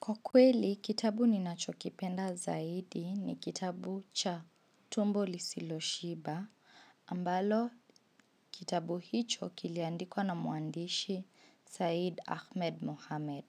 Kwa kweli, kitabu ninachokipenda zaidi ni kitabu cha tumbo lisiloshiba, ambalo kitabu hicho kiliandikwa na mwandishi Said Ahmed Mohamed.